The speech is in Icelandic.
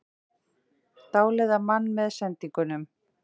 Dáleiða mann með sendingunum